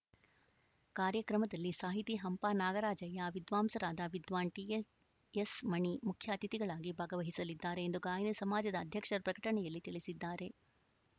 ಕಾರ್ಯಕ್ರಮದಲ್ಲಿ ಸಾಹಿತಿ ಹಂಪನಾಗರಾಜಯ್ಯ ವಿದ್ವಾಂಸರಾದ ವಿದ್ವಾನ್‌ ಟಿಎಎಸ್‌ಮಣಿ ಮುಖ್ಯಅತಿಥಿಗಳಾಗಿ ಭಾಗವಹಿಸಲಿದ್ದಾರೆ ಎಂದು ಗಾಯನ ಸಮಾಜದ ಅಧ್ಯಕ್ಷರ ಪ್ರಕಟಣೆಯಲ್ಲಿ ತಿಳಿಸಿದ್ದಾರೆ